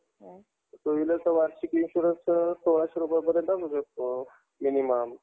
two wheelerचं वार्षिक insurance सोळाशे पर्यंत भेटतो minimum